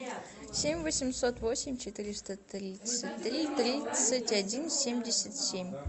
семь восемьсот восемь четыреста тридцать три тридцать один семьдесят семь